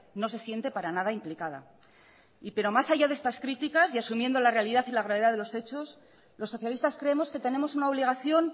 no se siente para nada implicada pero más allá de estas críticas y asumiendo la realidad y la gravedad de los hechos los socialistas creemos que tenemos una obligación